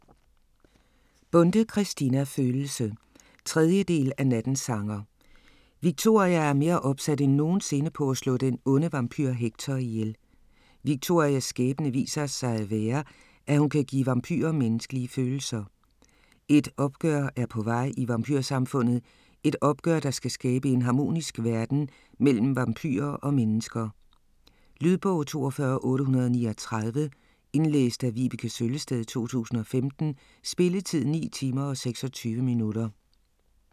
Bonde, Christina: Følelse 3. del af Nattens sanger. Victoria er mere opsat end nogensinde, på at slå den onde vampyr Hector ihjel. Victorias skæbne viser sig at være, at hun kan give vampyrer menneskelige følelser. Et opgør er på vej i vampyrsamfundet, et opgør der skal skabe en harmonisk verden mellem vampyrer og mennesker. Lydbog 42839 Indlæst af Vibeke Søllested, 2015. Spilletid: 9 timer, 26 minutter.